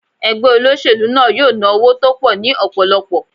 Ẹgbẹ́ olóṣèlú náà yóò ná owó tó pọ̀ ní ọ̀pọ̀lọpọ̀.